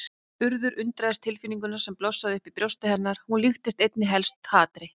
Urður undraðist tilfinninguna sem blossaði upp í brjósti hennar, hún líktist einna helst hatri.